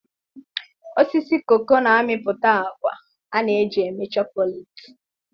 osisi cacao na-amịpụta agwa a na-eji eme chocolate.